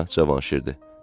Hə, Cavanşirdir.